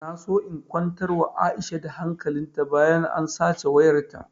Na so na kwantar wa aisha da hankalin ta bayan an sace wayar ta